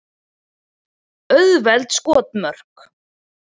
Auðveld skotmörk.